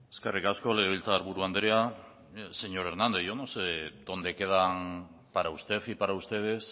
eskerrik asko legebiltzarburu andrea mire señor hernández yo no sé dónde quedan para usted y para ustedes